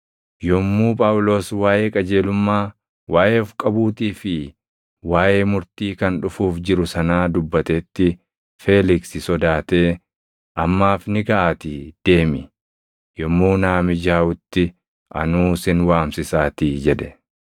Yommuu Phaawulos waaʼee qajeelummaa, waaʼee of qabuutii fi waaʼee murtii kan dhufuuf jiru sanaa dubbatetti Feeliksi sodaatee, “Ammaaf ni gaʼaatii deemi! Yommuu naa mijaaʼutti anuu sin waamsisaatii” jedhe.